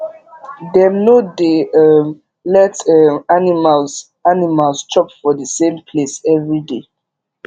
dem no dey um let um animals animals chop for the same place everyday